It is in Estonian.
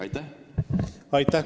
Aitäh!